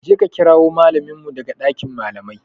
Je ka kirawo mallamin mu daga dakin malamai.